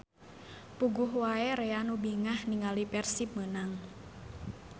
Puguh wae rea nu bingah ninggali Persib menang